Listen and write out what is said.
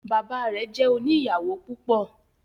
Bàbá rẹ jẹ òní ìyàwó púpọ